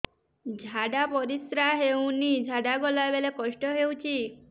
ଝାଡା ପରିସ୍କାର ହେଉନି ଝାଡ଼ା ଗଲା ବେଳେ କଷ୍ଟ ହେଉଚି